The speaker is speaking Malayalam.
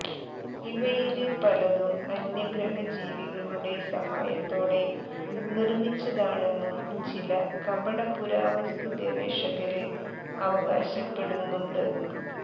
ഇവയില് പലതും അന്യഗ്രഹജീവികളുടെ സഹായത്തോടെ നിര്മ്മിച്ചതാണെന്നും ചില കപട പുരാവസ്തുഗവേഷകര് അവകാശപ്പെടുന്നുണ്ട്